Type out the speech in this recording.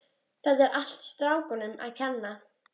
Þetta er allt strákunum að kenna.